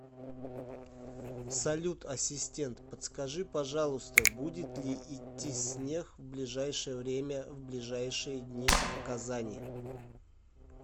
салют ассистент подскажи пожалуйста будет ли идти снег в ближайшее время в ближайшие дни в казани